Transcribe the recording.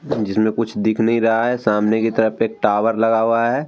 जिसमे कुछ दिख नहीं रहा है। सामने की तरफ एक टावर लगा हुआ है। --